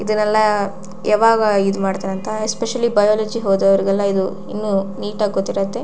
ಇದೆನ್ನೆಲ್ಲ ಯಾವಾಗ ಇಮಾಡ್ತಾರಂತ especially biology ಒದ್ದವರಿಗೆಲ್ಲ ನೀಟ್ ಆಗಿ ಗೊತ್ತಿರತ್ತೆ.